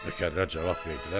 Nökərlər cavab verdilər ki: